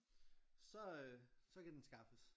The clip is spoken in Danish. Så øh så kan den skaffes